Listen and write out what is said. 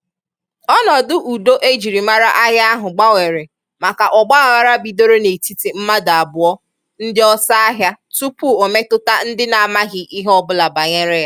ọnọdụ udo e jiri mara ahịa ahụ gbanwere maka ọgbaaghara bidoro n'etiti mmadụ abụọ ndị ọsọ ahịa tupuu ọ metụta ndị na-amaghị ihe ọbụla banyere ya.